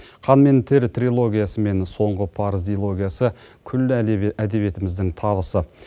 қан мен тер трилогиясы мен соңғы парыз дилогиясы күллі әдебиетіміздің табысы